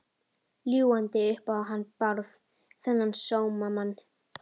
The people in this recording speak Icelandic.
Ljúgandi upp á hann Bárð, þennan sómamann.